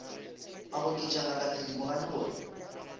a goketša ngaka thedimogane gore